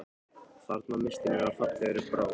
Þarna misstum við af fallegri bráð